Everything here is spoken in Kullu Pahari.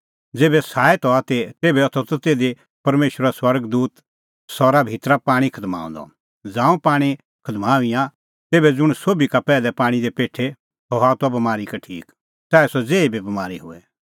ज़ेभै साईत हआ ती तेभै होथा त तिधी परमेशरो स्वर्ग दूत सरा भितरी पाणीं खदमाऊंदअ ज़ांऊं पाणीं खदमाईंआं तेभै ज़ुंण सोभी का पैहलै पाणीं दी पेठे सह हआ त बमारी का ठीक च़ाऐ सह ज़ेही बी बमारी होए